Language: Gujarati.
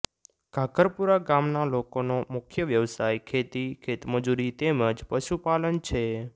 ઘાઘરપુરા ગામના લોકોનો મુખ્ય વ્યવસાય ખેતી ખેતમજૂરી તેમ જ પશુપાલન છે